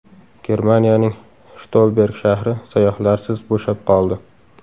Germaniyaning Shtolberg shahri sayyohlarsiz bo‘shab qoldi.